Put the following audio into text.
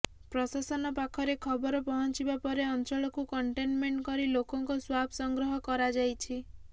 ପ୍ରଶାସନ ପାଖରେ ଖବର ପହଞ୍ଚିବା ପରେ ଅଞ୍ଚଳକୁ କଣ୍ଟେନମେଣ୍ଟ କରି ଲୋକଙ୍କ ସ୍ୱାବ୍ ସଂଗ୍ରହ କରାଯାଇଛି